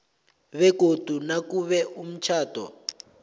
begodu nakube umtjhado